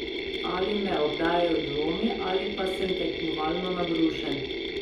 Ali me obdajajo dvomi ali pa sem tekmovalno nabrušen?